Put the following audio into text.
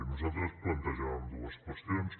nosaltres plantejàvem dues qüestions